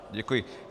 Děkuji.